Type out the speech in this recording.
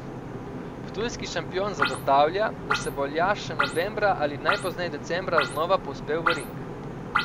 Ptujski šampion zagotavlja, da se bo Aljaž še novembra ali najpozneje decembra znova povzpel v ring.